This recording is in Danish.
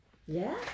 Ja